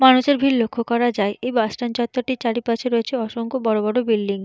মানুষের ভিড় লক্ষ্য করা যায়। এই বাস স্ট্যান্ড চত্বরটির চারিপাশে রয়েছে অসংখ বড় বড় বিল্ডিং ।